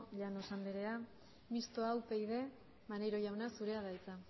llanos anderea mistoa upyd maneiro jauna zurea da hitza